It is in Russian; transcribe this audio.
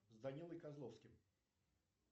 с данилой козловским